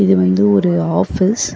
இது வந்து ஒரு ஆஃபீஸ் .